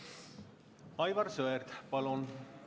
Aivar Sõerd, palun!